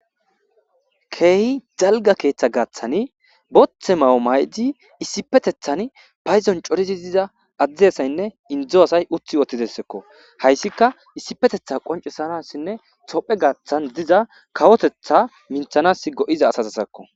keehi jalga keeththa gaaththani bothe mawo may7di issipetethan payzon corizi diza adzdeyasaynne indzo asay uthi wotidessekko hayssika issifetetha qoncesanassinne tophe gaaththan diza kawotetha minthanas go7iza asazasakko